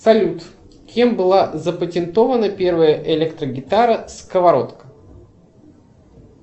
салют кем была запатентована первая электрогитара сковородка